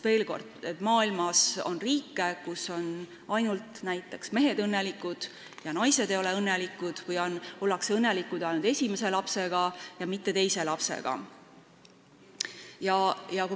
Veel kord ütlen, et maailmas on riike, kus on õnnelikud ainult näiteks mehed ja naised ei ole õnnelikud või ollakse õnnelikud ainult esimese lapsega, aga mitte siis, kui on sündinud teine laps.